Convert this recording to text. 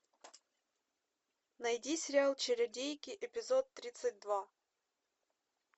найди сериал чародейки эпизод тридцать два